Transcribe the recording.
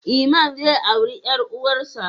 Iman zai auri ƴar uwarsa.